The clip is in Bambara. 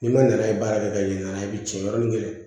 N'i ma na baara kɛ ka ɲin'a la i bi tiɲɛ yɔrɔ min kɛlɛn